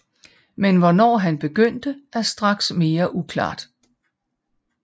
Men hvornår han begyndte er straks mere uklart